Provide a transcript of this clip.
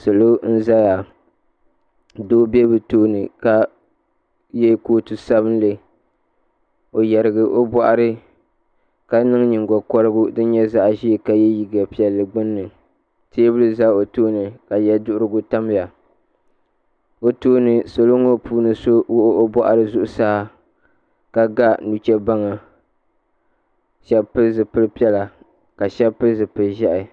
Salo n zaya doo bɛ tooni ka yɛ kootu sabinli o yarigi o bɔɣiri ka niŋ nyingokɔrigu din nyɛ zaɣa ʒee ka yɛ liiga piɛlli gbunni teebuli za o tooni ka yɛduhirigu tam ya o tooni salo ŋɔ puuni so wuɣi o bɔɣiri zuɣusaa ka ga nuchebaŋa shɛba pili zipili piɛla ka shɛba pili zipili ʒiɛhi.